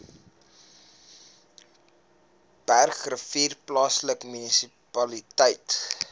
bergrivier plaaslike munisipaliteit